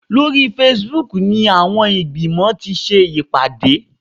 Lórí Facebook ni àwọn ìgbìmọ̀ ti ṣe ìpàdé